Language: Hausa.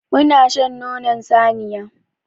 Muna shan nonon saniya.